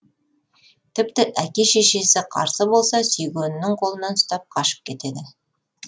тіпті әке шешесі қарсы болса сүйгенінің қолынан ұстап қашып кетеді